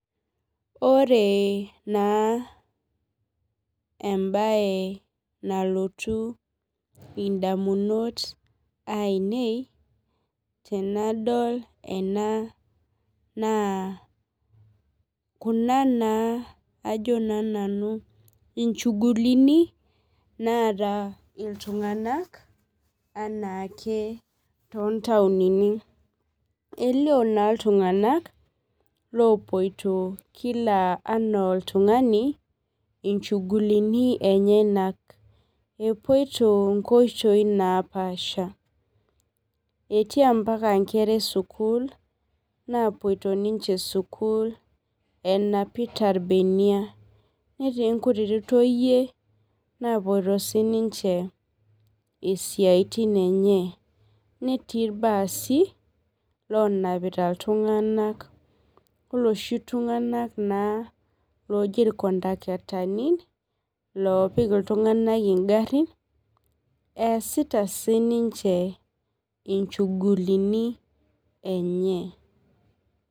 Ore na embae nalotu ondamunot ainei tenadol ena na kuna na ajo na nanu inchuvulini naata ltunganak tontauni elio na ltunganak opoito kila ana oltungani chugulini ana nenyanal epoito nkwapi naapasha etii mpaka nkera esukul napoto sukul enapita irbeniak netii nkuti toyie napoito sinche isiatin enye netii irbaasi lonapita ltunganak oloshi tumganak naa Oji irkondaktani easita sinche inchugulini enye.